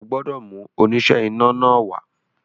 O gbọ́dọ̀ mú oníṣẹ́ iná náà wá